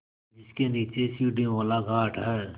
जिसके नीचे सीढ़ियों वाला घाट है